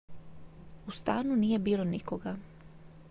u stanu nije bilo nikoga